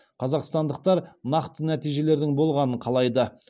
қазақстандықтар нақты нәтижелердің болғанын қалайды